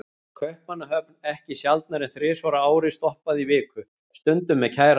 Kaupmannahöfn ekki sjaldnar en þrisvar á ári, stoppaði í viku, stundum með kærasta.